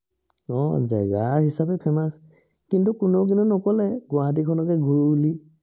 আহ জেগা হিচাপে famous কিন্তু কোনেও কিন্তু নকলে, গুৱাহাটী খনকে ঘূৰোঁ বুলি